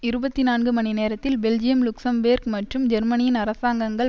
இருபத்தி நான்கு மணி நேரத்தில் பெல்ஜியம் லுக்சம்பேர்க் மற்றும் ஜெர்மனியின் அரசாங்கங்கள்